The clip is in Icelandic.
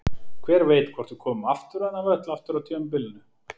Hver veit hvort við komum aftur á þennan völl aftur á tímabilinu?